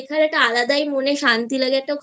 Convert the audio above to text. একটা আলাদা মনে শান্তি লাগে